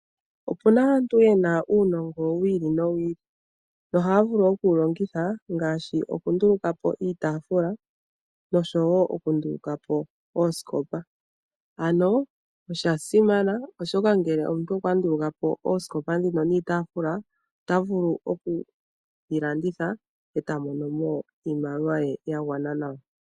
Opona aantu yena uunongo wiili no wiili ohaa vuli oku wulongitha ngaashi oku ndulukapo iitaafula noshowo oku ndulukapo oosikopa ano osha simana oshoka ngele omuntu okwa ndulukapo oosikopa ndhino niitaafula ota vulu oku landitha eta monomo iimaliwa ye yagwana nawa.